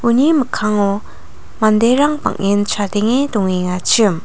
uni mikkango manderang bang·en chadenge dongengachim.